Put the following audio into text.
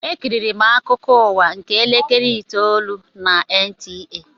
Ekiriri m akụkọ ụwa nke elekere itoolu na NTA.